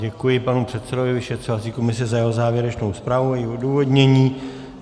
Děkuji panu předsedovi vyšetřovací komise za jeho závěrečnou zpráv a její odůvodnění.